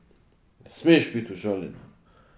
Ne smeš biti užaljena.